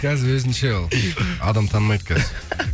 қазір өзіңше ол адам танымайды қазір